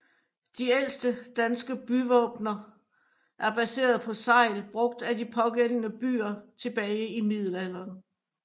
De ældste danske byvåbener er baserede på segl brugt af de pågældende byer tilbage i middelalderen